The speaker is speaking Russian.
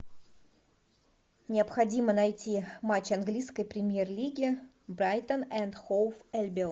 необходимо найти матч английской премьер лиги брайтон энд хоув альбион